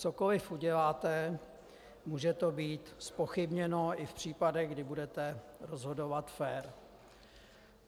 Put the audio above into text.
Cokoliv uděláte, může to být zpochybněno i v případech, kdy budete rozhodovat fér.